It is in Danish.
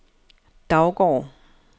Daugård